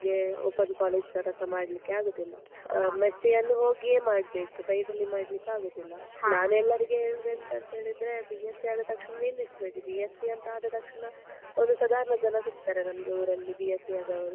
Open college ತರಸ ಮಾಡ್ಲಿಕ್ಕೆ ಆಗುದಿಲ್ಲ, M.sc ಯನ್ನು ಹೋಗಿಯೇ ಮಾಡ್ಬೇಕು. side ಲ್ಲಿ ಮಾಡ್ಲಿಕ್ಕೆ ಆಗುದಿಲ್ಲ. ನಾನು ಎಲ್ಲರಿಗೆ ಹೇಳುದು ಎಂತ ಅಂತ ಹೇಳಿದ್ರೆ, B.sc ಆದತಕ್ಷಣ ನಿಲ್ಲಿಸ್ಬೇಡಿ B.sc ಅಂತ ಆದ ತಕ್ಷಣ ಒಂದು ಸಾಧಾರಣ ಜನ ಸಿಗ್ತಾರೆ ನಮ್ಗೆ ಊರಲ್ಲಿ B.sc ಆದವ್ರು.